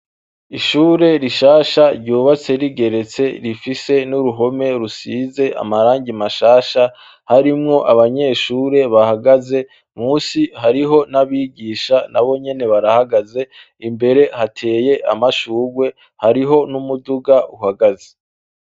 Ishure rishasha ryubatse rigeretse rifise n'uruhome rusize amarangi mashasha harimwo abanyeshure bahagaze musi hariho n'abigisha nabo nyene barahagaze imbere hateye amashurwe hariho n'umuduga uhagaze.